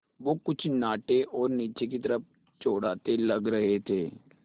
वो कुछ नाटे और नीचे की तरफ़ चौड़ाते लग रहे थे